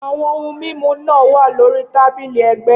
Awọn ohun mimu naa wa lori tabili ẹgbẹ